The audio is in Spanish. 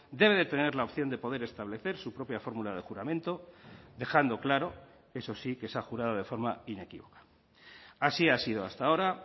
debe de tener la opción de poder establecer su propia fórmula de juramento dejando claro eso sí que se ha jurado de forma inequívoca así ha sido hasta ahora